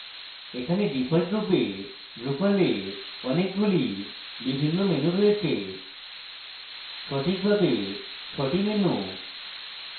এখানে ডিফল্টরূপে drupal a অনেকগুলি বিভিন্ন menus রয়েছে সঠিকভাবে ছটি menus